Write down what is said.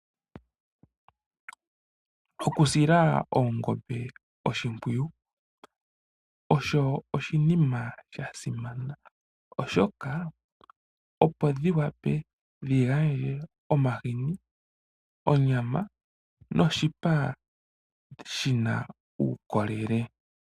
Okusila oongombe oshimpwiyu osho oshinima sha simana oshoka oongombe opo dhi wape dhigandje omahini ,onyama noshipa shina uukolele .